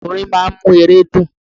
Orin máa ń mú ere dùn.